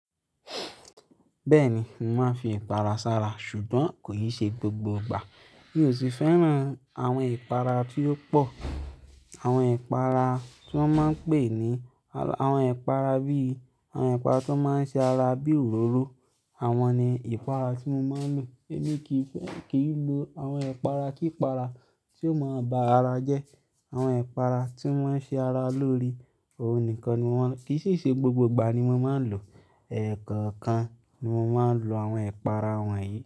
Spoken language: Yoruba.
Bẹ́ẹ̀ni, mo màá fi ẹ̀pàrà sára ṣùgbọ́n kò ì ṣe gbogbo ìgbà. Mi ò sì fẹ́ràn àwọn ẹ̀pàrà tí ó pọ̀. Àwọn ẹ̀pàrà tí wọ́n máa n pè ní àwọn ẹ̀pàrà bí i àwọn ẹ̀pàrà tó máà ń ṣe ara bí òróró, àwọn ni ẹ̀pàrà tí mo máa n lò. Èmi kì í, kì í lo àwọn ẹ̀pàrà kípàrà tí ó máa ń ba ara jẹ́. Àwọn ẹ̀pàrà tí wọ́n ṣe ara lórí, òun nìkan ni mo máa ń lò. Kì í sì ṣe gbogbo ìgbà ni mo máa ń lò, ẹ̀ kọ̀ọ̀kan ni mo máa ń lo àwọn ẹ̀pàrà wọ̀nyí.